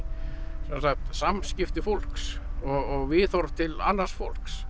sem sagt samskipti fólks og viðhorf til annars fólks